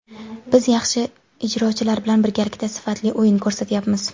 Biz yaxshi ijrochilar bilan birgalikda sifatli o‘yin ko‘rsatyapmiz.